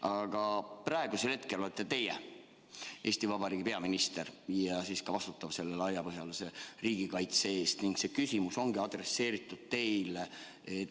Aga praegu olete teie Eesti Vabariigi peaminister ja vastutate laiapõhjalise riigikaitse eest ning see küsimus oli adresseeritud teile.